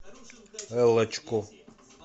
эллочку